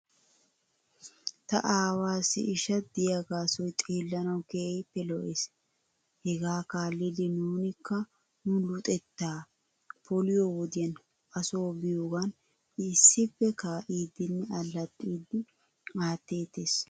Ta aawaassi sisha diyaagaasoy xeellanaw keehippe lo'es. Hegaa kaallidi nuunikka nu luxxetta polliyoo wodiyan asoo biyoogan issippe kaa'iiddinne allaxiidi aatteetes.